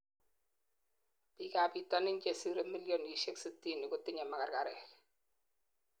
biik ab bitonin chesirei millinisiek sitini kotinyei magargarek